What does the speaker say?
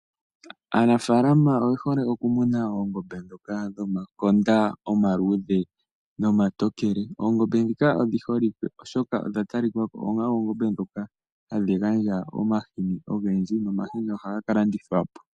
Aanafaalama oye hole okumona oongombe ndhoka dhomakonda omaluudhe nomatokele . Oongombe odhi holike oshoka odha talikako onga oongombe ndhika hadhi gandja omahini ogendji nomahini ohaga kalandithwa po.